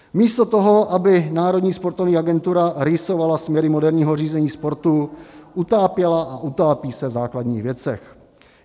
Místo toho, aby Národní sportovní agentura rýsovala směry moderního řízení sportu, utápěla a utápí se v základních věcech.